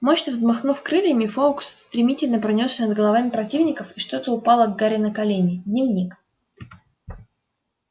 мощно взмахнув крыльями фоукс стремительно пронёсся над головами противников и что-то упало к гарри на колени дневник